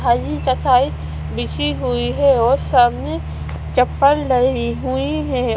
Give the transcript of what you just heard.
थेल्ली बिछी हुई है और सामने चप्पल डली हुई हैं।